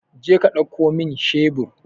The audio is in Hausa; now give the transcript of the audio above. Jeka ɗauko min shebur!